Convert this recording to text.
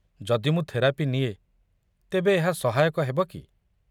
ଯଦି ମୁଁ ଥେରାପି ନିଏ ତେବେ ଏହା ସହାୟକ ହେବ କି?